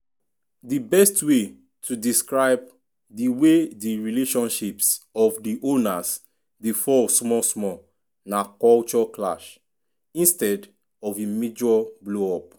di best way to describe di way di relationships of di owners dey fall small small na "culture clash" instead of a major blow-up.